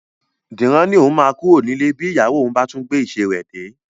Dìran ni òun máa kúrò nílé bí ìyàwó òun bá tún ti gbé ìṣe rẹ dé